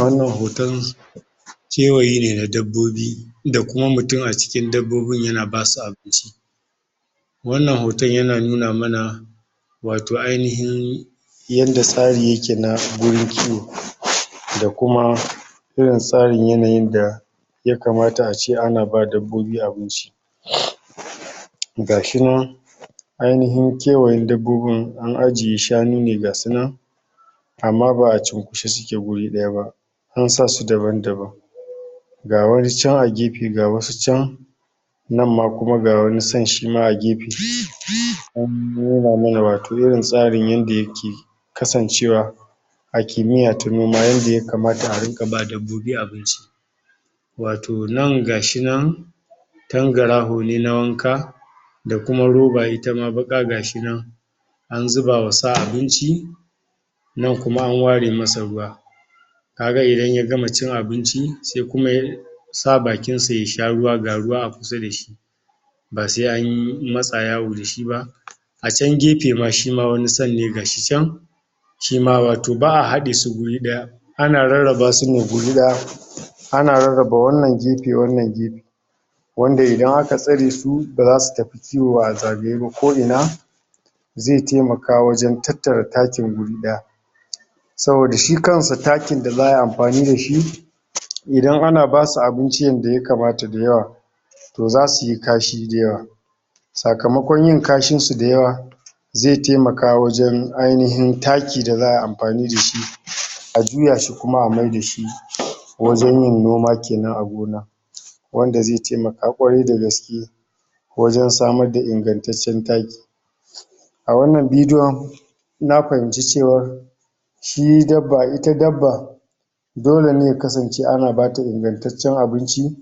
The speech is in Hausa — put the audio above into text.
wannan hoton kewayene na dabbabi da kuma mutum acikin dabbobin yana basu abinci wannan hoton yana nuna mana wato ainihin yanda tsari yake na wurin kiwo da kuma irin tsarin yanayin da yakamata ace ana ba dabbobi abinci????? gashi nan ainihin kewaye dabbobin anajiye shanun gasu nan amma baʼa cunkushi suke wuri dayaba an sasu daban daban ga wani chan a gefe ga wasu chan nan ma ga wani sa shima agefe an nuna mana wato irin tsarin yanda yake kasancewa a kimiyya ta noma yanda ya kamata a ringa bawa dabbobi abu??????? wato nan gashi nan tangaraho ne na wanka dakuma roba itama baka gashi nan an zuba wa sa abinci nan kuma an ware masa ruwa kaga idan ya gama cin abin sai kuma yar sa bakinsa yasha ruwa ga kusada shi basai anyi masa yawo dashiba a chan gefema shima wani sa ne gashi chan shima wato baʼa hadesu guri daya ana rarraba sune guri daya ana rarraba waannan gefe wannan gefe wanda idan aka tsaresu bazasu tafi kiwo azagaye ba ko ina ze taimaka wajan tattara takin wuri daya saboda shi kansa takin da zaʼa yi anfanida shi idan ana basu abinci yanda ya kamata dayawa to zasuyi kashi dayawa sakamakon yin kashinsu dayawa ze taimaka wajan ainihin takin da zaʼayi amfani dashi ajuya shi kuma maidashi wajan yin noma kenan a gona wanda ze taimaka kwarai da gaske wajan samarda ingantaccen taki a wannan video na fahinci cewan shi dabba ita dabba dole ne ya kasance ana bata ingantaccen abinci